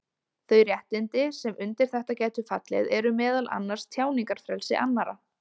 Þau réttindi sem undir þetta gætu fallið eru meðal annars tjáningarfrelsi annarra.